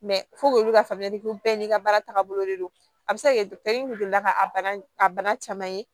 olu ka faamuyali ko bɛɛ n'i ka baara tagabolo de don a bɛ se ka kɛ dɔkitɛriw delila ka a bana a bana caman ye